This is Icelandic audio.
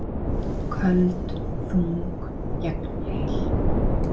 Köld, þung, gegnheil.